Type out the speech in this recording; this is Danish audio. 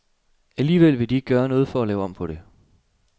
Alligevel vil de ikke gøre noget for at lave om på det.